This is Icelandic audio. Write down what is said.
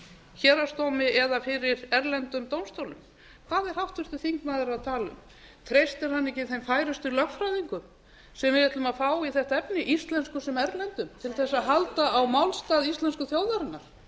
héraðsdómi eða fyrir erlendum dómstólum hvað er háttvirtur þingmaður að tala um treystir hann ekki þeim færustu lögfræðingum sem við ætlum að fá í þetta efni íslenskum sem erlendum til að halda á málstað íslensku þjóðarinnar